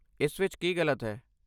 ਇਸ ਵਿੱਚ ਕੀ ਗਲਤ ਹੈ?